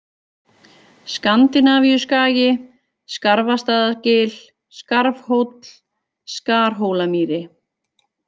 Skandinavíuskagi, Skarfastaðagil, Skarfhóll, Skarhólamýri